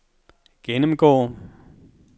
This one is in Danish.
gennemgå